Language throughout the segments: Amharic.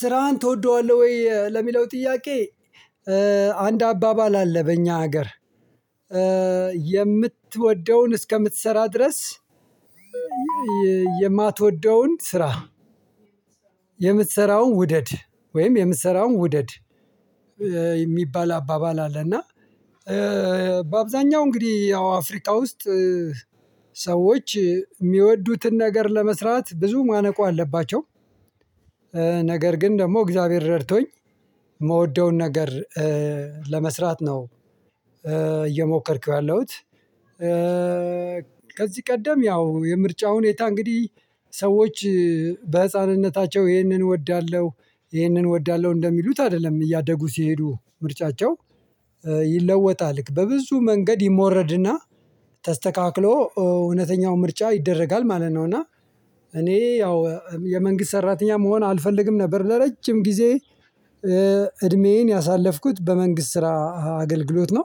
ስራህን ትወደዋለህ ወይ ለሚለው ጥያቄ? አንድ አባባል አለ በእኛ ሀገር። የምትወደውን እስከምትሰራ ድረስ። የማትወደውን ስራ የምትሰራውን ውደድ ወይም የምትሰራውን ውደድ። የሚባል አባባል አለ እና በአብዛኛው እንግዲህ ያው አፍሪቃ ውስጥ ሰዎች የሚወዱትን ነገር ለመስራት ብዙ ማነቁ አለባቸው። ነገር ግን ደግሞ እግዚአብሔር ረድቶኝ የምወደውን ነገር ለመስራት ነው እየሞከርኩ ያለሁት። ከዚህ ቀደም ያው የምርጫውን ሁኔታ እንግዲህ ሰዎች በህፃንነታቸው ይህንን እወዳለሁ ይህንን እወዳለሁ እንደሚሉት አይደለም እያደጉ ሲሄዱ ምርጫቸው ይለወጣል በብዙ መንገድ ይሞረድና ተስተካክሎ እውነተኛው ምርጫ ይደረጋል ማለት ነው። እና እኔ ያው የመንግስት ሰራተኛ መሆን አልፈልግም ነበር ለረጅም ጊዜ እድሜዬን ያሳለፍኩት በመንግስት ስራ አገልግሎት ነው።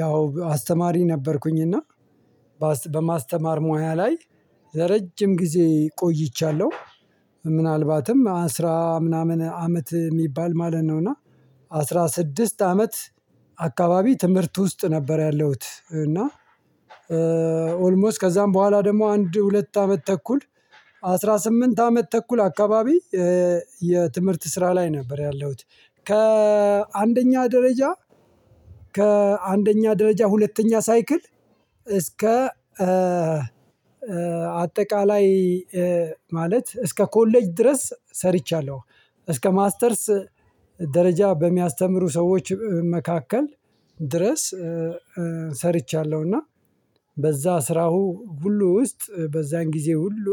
ያው አስተማሪ ነበርኩኝ እና በማስተማር ሙያ ላይ ለረጅም ጊዜ ቆይቻለሁ ምናልባትም አስራ ምናምን አመት የሚባል ማለት ነው። እና አስራ ስድስት አመት አካባቢ ትምህርት ውስጥ ነበር ያለውት እና። ኦልሞስት ከዛም በኋላ ደግሞ አንድ ሁለት አመት ተኩል አስራ ስምንት አመት ተኩል አካባቢ የትምህርት ስራ ላይ ነበር ያለሁት። ከአንደኛ ደረጃ ከአንደኛ ደረጃ ሁለተኛ ሳይክል እስከ አጠቃላይ ማለት እስከ ኮሌጅ ድረስ ሰርቻለሁ። እስከ ማስተርስ ደረጃ በሚያስተምሩ ሰዎች መካከል ድረስ ሰርቻለሁ። እና በዛ ስራው ሁሉ ውስጥ በዛን ጊዜ ሁሉ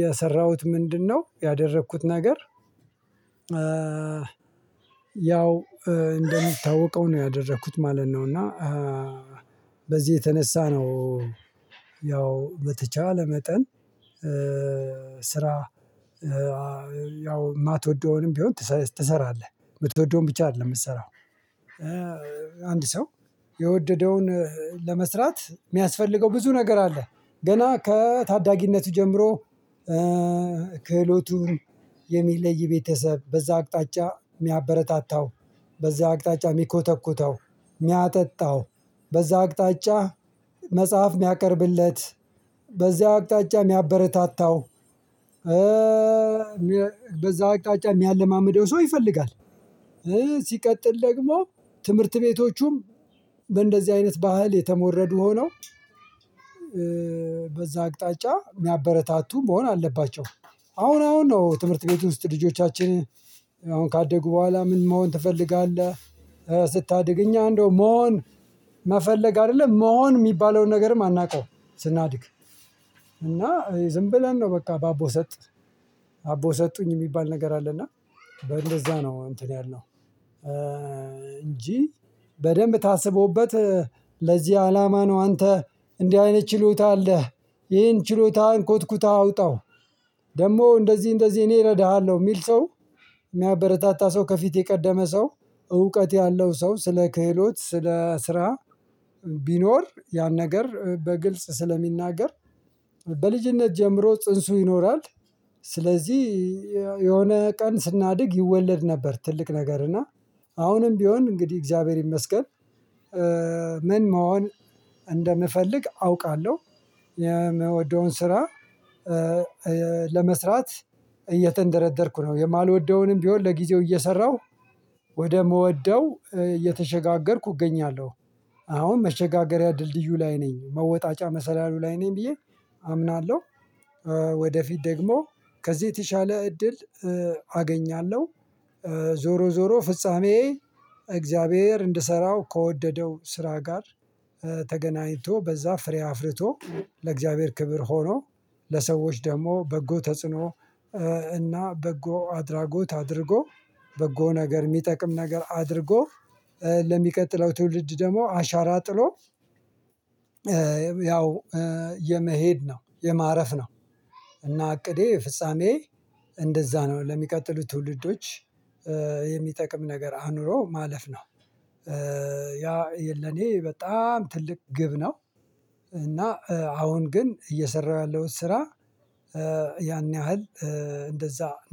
የሰራሁት ምንድነው ያደረግኩት ነገር? ያው እንደሚታወቀው ነው ያደረኩት ማለት ነው። እና በዚህ የተነሳ ነው ያው በተቻለ መጠን ስራ ያው የማትወደውንም ቢሆን ትሰራለህ የምትወደውን ብቻ አይደለም የምትሰራው። አንድ ሰው የወደደውን ለመስራት የሚያስፈልገው ብዙ ነገር አለ ገና ከታዳጊነቱ ጀምሮ ክህሎቱን የሚለይ ቤተሰብ በዛ አቅጣጫ የሚያበረታታው በዛ አቅጣጫ የሚኮተኩተው የሚያጠጣው በዛ አቅጣጫ መጽሐፍ የሚያቀርብለት በዚያው አቅጣጫ የሚያበረታታው በዛው አቅጣጫ የሚያለማምደው ሰው ይፈልጋል። ሲቀጥል ደግሞ ትምህርት ቤቶቹም በእንደዚህ አይነት ባህል የተሞረዱ ሆነው በዛ አቅጣጫ የሚያበረታቱ መሆን አለባቸው። አሁን አሁን ነው ትምህርት ቤቱ ውስጥ ልጆቻችንን አሁን ካደጉ በኋላ ምን መሆን ትፈልጋለህ ስታድግ እኛ እንደው መሆን መፈለግ አይደለም መሆን የሚባለውን ነገርም አናውቀውም። ስናድግ እና ዝም ብለን ነው በቃ በአቦ ሰጥ አቦ ሰጡኝ የሚባል ነገር አለ እና እንደዛ ነው እንትን ያልነው እንጂ በደንብ ታስቦበት ለዚህ አላማ ነው። አንተ እንዲህ አይነት ችሎታ አለህ። ይሄን ችሎታ አንኮትኩተህ አውጣው ደግሞ እንደዚህ እንደዚህ እኔ እረዳሃለሁ የሚል ሰው የሚያበረታታ ሰው ከፊት የቀደመ ሰው እውቀት ያለው ሰው ስለ ክህሎት ስለ ስራ ቢኖር ያን ነገር በግልጽ ስለሚናገር በልጅነት ጀምሮ ጽንሱ ይኖራል። ስለዚህ የሆነ ቀን ስናድግ ይወለድ ነበር ትልቅ ነገር እና አሁንም ቢሆን እንግዲህ እግዚአብሔር ይመስገን ምን መሆን እንደምፈልግ አውቃለሁ። የምወደውን ስራ ለመስራት እየተንደረደርኩ ነው የማልወደውንም ቢሆን ለጊዜው እየሰራሁ ወደ ምወደው እየተሸጋገርኩ እገኛለሁ። አሁን መሸጋገሪያ ድልድዩ ላይ ነኝ መወጣጫ መሰላሉ ላይ ነኝ ብዬ አምናለሁ። ወደፊት ደግሞ ከዚህ የተሻለ እድል አገኛለሁ። ዞሮ ዞሮ ፍጻሜ እግዚአብሔር እንድሰራው ከወደደው ስራ ጋር ተገናኝቶ በዛ ፍሬ አፍርቶ ለእግዚአብሔር ክብር ሆኖ ለሰዎች ደግሞ በጎ ተጽዕኖ እና በጎ አድራጎት አድርጎ በጎ ነገር የሚጠቅም ነገር አድርጎ ለሚቀጥለው ትውልድ ደግሞ አሻራ ጥሎ። ያው የመሄድ ነው የማረፍ ነው። እና እቅዴ ፍጻሜ እንደዛ ነው ለሚቀጥሉት ትውልዶች የሚጠቅም ነገር አኑሮ ማለፍ ነው። ያ የለኔ በጣም ትልቅ ግብ ነው። እና አሁን ግን እየሰራሁ ያለሁት ስራ ያን ያህል እንደዛ ነው